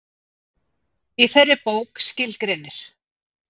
Í þeirri bók skilgreinir